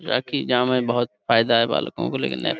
جا کی جا مے بھوت بہت فایدہ ہے بالکو کو --